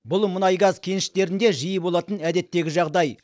бұл мұнай газ кеніштерінде жиі болатын әдеттегі жағдай